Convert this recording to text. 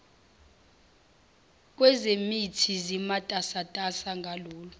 kwezemithi zimatasatasa ngalolu